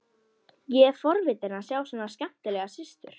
Ég er forvitinn að sjá svona skemmtilega systur.